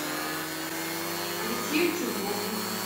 алексею чернову